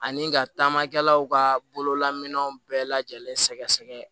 Ani ka taamakɛlaw ka bololaminɛw bɛɛ lajɛlen sɛgɛsɛgɛ